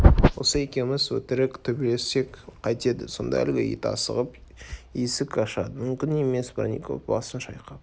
осы екеуміз өтірік төбелессек қайтеді сонда әлгі ит асығып есік ашады мүмкін емес бронников басын шайқап